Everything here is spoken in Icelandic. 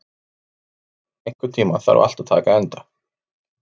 Sigurdór, einhvern tímann þarf allt að taka enda.